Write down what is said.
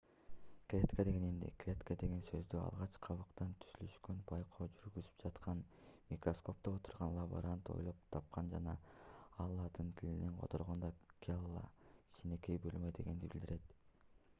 клетка деген эмне клетка деген сөздү алгач кабыктын түзүлүшүнө байкоо жүргүзүп жаткан микроскопто отурган лаборант ойлоп тапкан жана ал латын тилинен которгондо cella - кичинекей бөлмө дегенди билдирет